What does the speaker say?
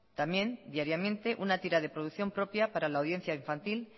también diariamente una tira de producción propia para la audiencia infantil